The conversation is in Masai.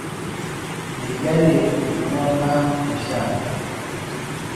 Meijalie iltung'ana oshiake